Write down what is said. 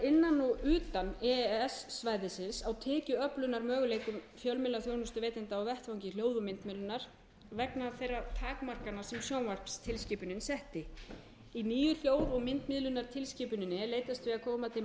innan og utan e e s svæðisins á tekjuöflunarmöguleikum fjölmiðlaþjónustuveitenda á vettvangi hljóð og myndmiðlunar vegna þeirra takmarkana sem sjónvarpstilskipunin setti í nýju hljóð og myndmiðlunartilskipuninni er leitast við að koma til móts við kröfur